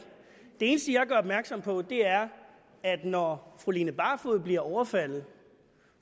det eneste jeg gør opmærksom på er at når fru line barfod bliver overfaldet